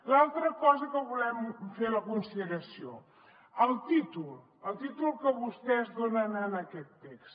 l’altra cosa que volem fer la consideració el títol el títol que vostès donen en aquest text